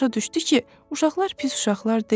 Başa düşdü ki, uşaqlar pis uşaqlar deyil.